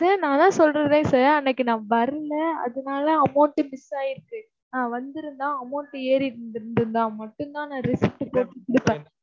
sir, நான்தான் சொல்றேன்ல sir அன்னைக்கு நான் வரலை அதனால amount miss ஆயிருச்சு. நான் வந்திருந்தா amount மட்டும்தான் நான் receipt போட்டுக் கொடுப்பேன்.